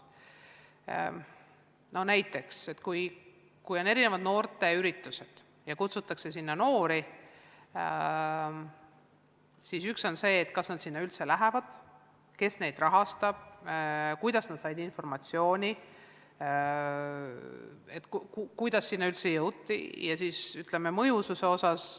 Näiteks, kui toimuvad noorteüritused ja neile kutsutakse noori, siis üks asi on see, kas nad sinna üldse lähevad, teiseks, kes neid rahastab, kuidas nad said informatsiooni, kuidas sinna üldse jõuti jne.